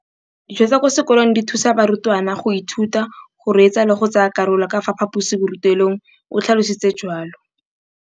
Dijo tsa kwa sekolong dithusa barutwana go ithuta, go reetsa le go tsaya karolo ka fa phaposiborutelong, o tlhalositse jalo.